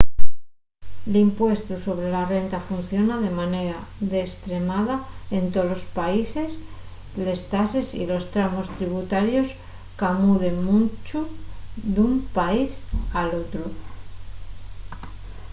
l'impuestu sobre la renta funciona de manera destremada en tolos países les tases y los tramos tributarios camuden muncho d'un país al otru